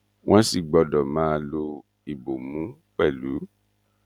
wọn sì gbọdọ máa lo ìbomú pẹlú